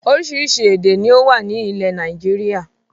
Oríṣiríṣi èdè ni ó wà ní ilẹ̀ Nàìjíríà